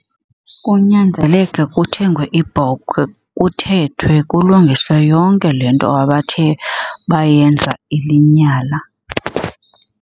Kunyanzeleke kuthengwe ibhokhwe kuthethwe kulungiswe yonke le nto abathe bayenza ilinyala.